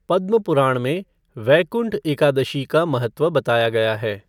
पद्म पुराण में वैकुंठ एकादशी का महत्व बताया गया है।